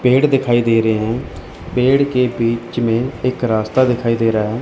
पेड़ दिखाई दे रहे हैं पेड़ के बीच में एक रास्ता दिखाई दे रहा है।